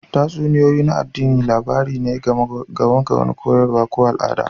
Tatsuniyoyi na addini labari ne game da wani koyaswa ko al'ada